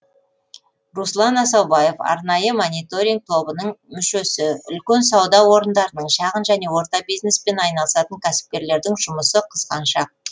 руслан асаубаев арнайы мониторинг тобының мүшесі үлкен сауда орындарының шағын және орта бизнеспен айналысатын кәсіпкерлердің жұмысы қызған шақ